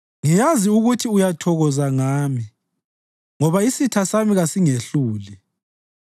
Ngiyazi ukuthi uyathokoza ngami, ngoba isitha sami kasingehluli.